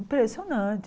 Impressionante.